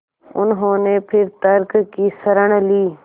उन्होंने फिर तर्क की शरण ली